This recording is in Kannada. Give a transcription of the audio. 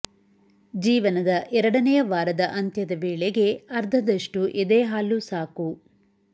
ಜೀವನದ ಎರಡನೆಯ ವಾರದ ಅಂತ್ಯದ ವೇಳೆಗೆ ಅರ್ಧದಷ್ಟು ಎದೆ ಹಾಲು ಸಾಕು